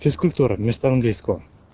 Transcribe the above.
физкультура вместо английского